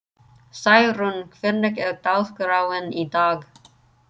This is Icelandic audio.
Særún, hvernig er dagskráin í dag?